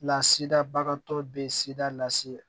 Lasidabagatɔ bɛ sida lase